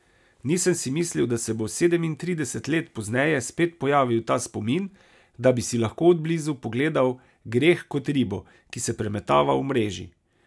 Nisem si mislil, da se bo sedemintrideset let pozneje spet pojavil ta spomin, da bi si lahko od blizu pogledal greh kot ribo, ki se premetava v mreži.